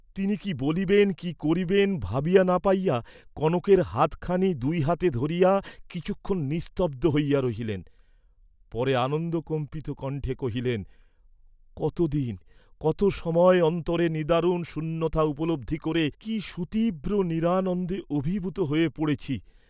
তিনি কি বলিবেন, কি করিবেন ভাবিয়া না পাইয়া কনকের হাতখানি দুই হাতে ধরিয়া কিছুক্ষণ নিস্তব্ধ হইয়া রহিলেন, পরে আনন্দকম্পিত কণ্ঠে কহিলেন, কত দিন কত সময় অন্তরে নিদারুণ শূন্যতা উপলব্ধি করে, কি সুতীব্র নিরানন্দে অভিভূত হয়ে পড়েছি।